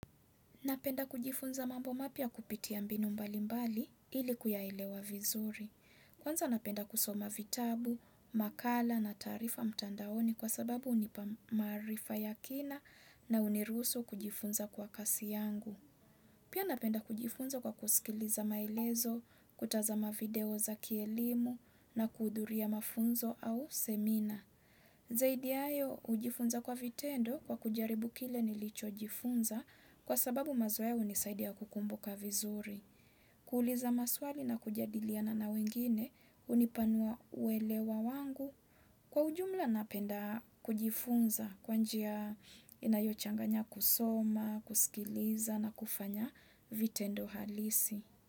Napenda kujifunza mambo mapya kupitia mbinu mbalimbali ili kuyaelewa vizuri. Kwanza napenda kusoma vitabu, makala na taarifa mtandaoni kwa sababu hunipa maarifa ya kina na huniruhusu kujifunza kwa kasi yangu. Pia napenda kujifunza kwa kusikiliza maelezo, kutazama video za kielimu na kuhudhuria mafunzo au semina. Zaidi ya hayo hujifunza kwa vitendo kwa kujaribu kile nilichojifunza kwa sababu mazoea hunisaidia kukumbuka vizuri. Kuuliza maswali na kujadiliana na wengine hunipanua uelewa wangu. Kwa ujumla napenda kujifunza kwa njia inayochanganya kusoma, kusikiliza na kufanya vitendo halisi.